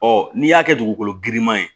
Ɔ n'i y'a kɛ dugukolo girinman ye